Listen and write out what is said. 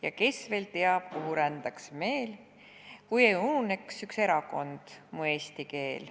Ja kes veel teab, kuhu rändaks meel, kui ununeks üks erakond: mu eesti keel.